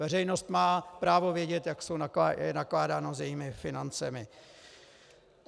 Veřejnost má právo vědět, jak je nakládáno s jejími financemi.